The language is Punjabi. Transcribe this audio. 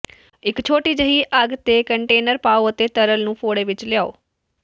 ਇਕ ਛੋਟੀ ਜਿਹੀ ਅੱਗ ਤੇ ਕੰਨਟੇਨਰ ਪਾਉ ਅਤੇ ਤਰਲ ਨੂੰ ਫ਼ੋੜੇ ਵਿਚ ਲਿਆਓ